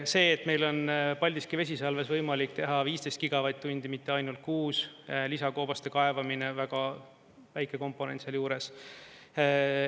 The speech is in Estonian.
See, et meil on Paldiski vesisalves võimalik teha 15 gigavatt-tundi, mitte ainult kuus, lisakoobaste kaevamine, väga väike komponent sealjuures.